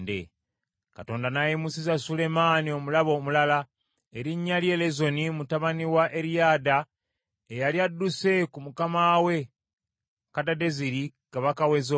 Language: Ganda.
Katonda n’ayimusiza Sulemaani, omulabe omulala, erinnya lye Lezoni mutabani wa Eriyada, eyali adduse ku mukama we Kadadezeri kabaka w’e Zoba.